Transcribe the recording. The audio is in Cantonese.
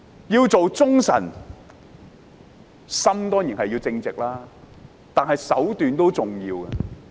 要做忠臣，心當然要正直，但手段也同樣重要。